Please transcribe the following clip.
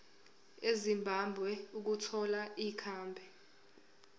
ezimbabwe ukuthola ikhambi